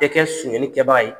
tɛ kɛ sonyali kɛ baga ye.